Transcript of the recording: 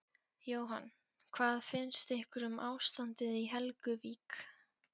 Jóhann: Hvað finnst ykkur um ástandið í Helguvík?